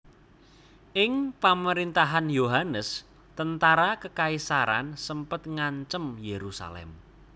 Ing pamerintahan Yohanes tentara kekaisaran sempet ngancem Yerusalem